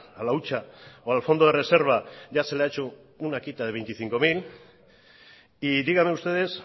a la hucha o al fondo de reserva ya se la ha hecho una quita de veinticinco mil y díganme ustedes